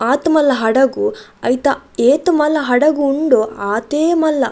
ಆತ್ ಮಲ್ಲ ಹಡಗು ಐತ ಏತ್ ಮಲ್ಲ ಹಡಗು ಉಂಡು ಆತೆ ಮಲ್ಲ --